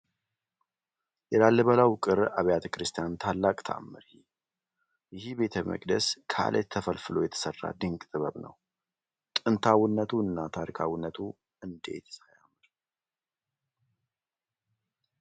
የላሊበላው ውቅር አቢያተ ክርስቲያን ታላቅ ተአምር! ይህ ቤተ መቅደስ ከዓለት ተፈልፍሎ የተሰራ ድንቅ ጥበብ ነው! ጥንታዊነቱ እና ታሪካዊነቱ እንዴትስ አያምር!